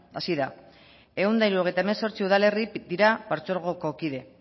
hazi da ehun eta hirurogeita hemezortzi udalerri dira partzuergoko kide